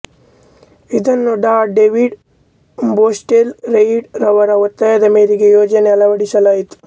ಇದನ್ನು Dr David Boswell Reid ರ ಒತ್ತಾಯದ ಮೇರೆಗೆ ಯೋಜನೆಗೆ ಅಳವಡಿಸಲಾಯಿತು